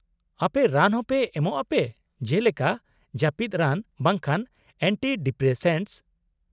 -ᱟᱯᱮ ᱨᱟᱱ ᱦᱚᱸ ᱮᱢᱚᱜ ᱟᱯᱮ ᱡᱮᱞᱮᱠᱟ ᱡᱟᱹᱯᱤᱫ ᱨᱟᱱ ᱵᱟᱝᱠᱷᱟᱱ ᱮᱱᱴᱤᱰᱤᱯᱨᱮᱥᱮᱱᱴᱥ ?